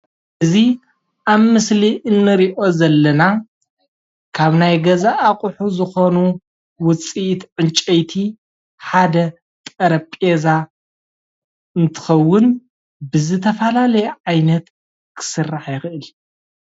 እዚ ኣብ ምስሊ እንሪኦ ዘለና ካብ ናይ ገዛ ኣቑሑ ዝኾኑ ውፅኢት ዕንጨይቲ ሓደ ጠረጴዛ እንትኽውን ብዝተፈላለዩ ዓይነት ክስራሕ ይክእል።